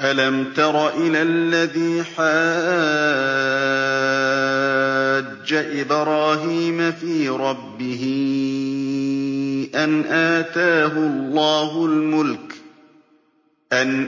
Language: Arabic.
أَلَمْ تَرَ إِلَى الَّذِي حَاجَّ إِبْرَاهِيمَ فِي رَبِّهِ أَنْ